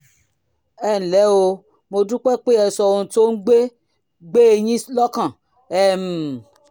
ẹ ǹlẹ́ o mo dúpẹ́ pé ẹ sọ ohun tó ń gbé gbé e yín lọ́kàn um